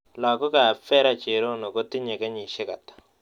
Lagokap vera cherono kotinye kenyisiek ata